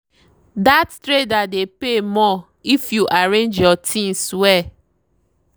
that trader dey pay more if you arrange your things well.